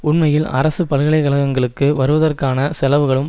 உண்மையில் அரசு பல்கலைக்கழகங்களுக்கு வருவதற்கான செலவுகளும்